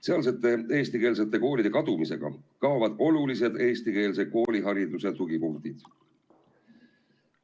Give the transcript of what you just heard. Sealsete eestikeelsete koolide kadumisega kaovad olulised eestikeelse koolihariduse tugipunktid.